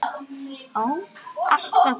Það var alltaf troðið.